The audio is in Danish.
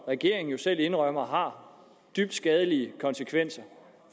regeringen selv indrømmer har dybt skadelige konsekvenser